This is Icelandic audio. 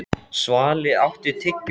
Svali, áttu tyggjó?